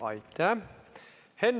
Aitäh!